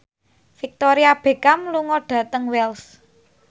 Victoria Beckham lunga dhateng Wells